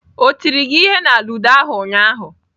O tiri gi ihe na ludo ụnyaahụ?